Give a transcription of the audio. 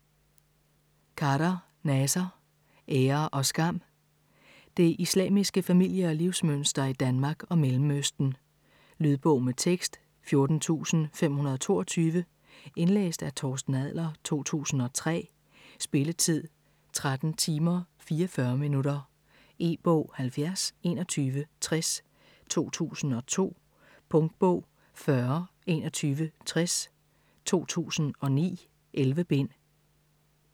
Khader, Naser: Ære og skam Det islamiske familie- og livsmønster i Danmark og Mellemøsten. Lydbog med tekst 14522 Indlæst af Torsten Adler, 2003. Spilletid: 13 timer, 44 minutter. E-bog 702160 2002. Punktbog 402160 2009. 11 bind.